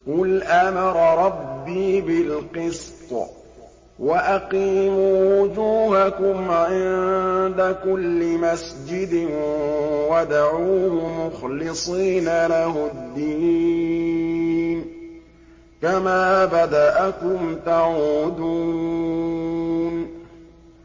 قُلْ أَمَرَ رَبِّي بِالْقِسْطِ ۖ وَأَقِيمُوا وُجُوهَكُمْ عِندَ كُلِّ مَسْجِدٍ وَادْعُوهُ مُخْلِصِينَ لَهُ الدِّينَ ۚ كَمَا بَدَأَكُمْ تَعُودُونَ